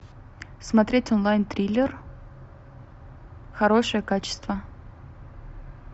смотреть онлайн триллер хорошее качество